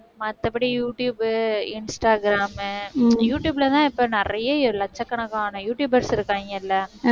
மத்தபடி YouTube, Instagram, யூடுயூப்லதான் இப்ப நிறைய லட்சக்கணக்கான யூடுயூபர்ஸ் இருக்காங்க இல்லை?